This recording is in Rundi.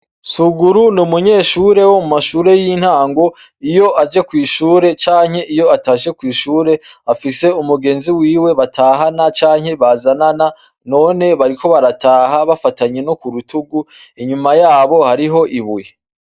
Soguru n’umunyeshure wo mumashure y’intago, iyo aje kw’ishure canke iyo atashe kw’ishure afise umugenzi wiwe batahana canke bazanana none bariko barataha bafatanye no kurutugu, inyuma yabo hariyo ibuye.